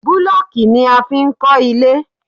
Búlọ̀kù ni a fi n kọ́ ilé